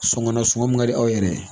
Sɔngɔ nasɔngɔ min ka di aw yɛrɛ ye